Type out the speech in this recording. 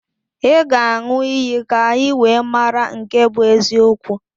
Ị ga-aṅụ iyi ka anyị wee mara nke bụ eziokwu